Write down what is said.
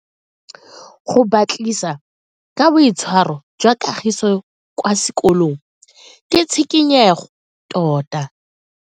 Go batlisisa ka boitshwaro jwa Kagiso kwa sekolong ke tshikinyego tota.